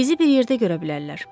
Bizi bir yerdə görə bilərlər.